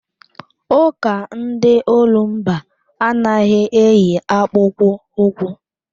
Ụka ndị olumba anaghị eyi akpụkpọ ụkwụ.